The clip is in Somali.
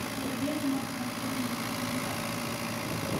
Tarbiya nocas walikedh mala arkin.